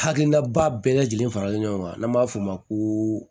Hakilinaba bɛɛ lajɛlen faralen ɲɔgɔn kan n'an b'a f'o ma ko